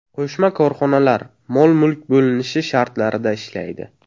Qo‘shma korxonalar mol-mulk bo‘linishi shartlarida ishlaydi.